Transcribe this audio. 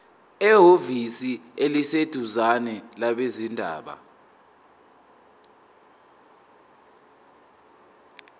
ehhovisi eliseduzane labezindaba